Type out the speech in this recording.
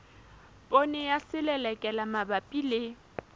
poone ya selelekela mabapi le